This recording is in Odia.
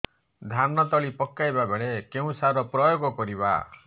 ଧାନ ତଳି ପକାଇବା ବେଳେ କେଉଁ ସାର ପ୍ରୟୋଗ କରିବା